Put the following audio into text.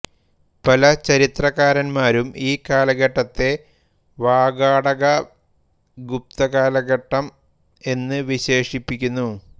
പല ചരിത്രകാരന്മാരും ഈ കാലഘട്ടത്തെ വാകാടകഗുപ്ത കാലഘട്ടം എന്ന് വിശേഷിപ്പിക്കുന്നു